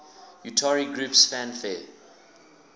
utari groups fanfare